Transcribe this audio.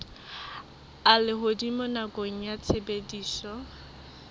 a lehodimo nakong ya tshebediso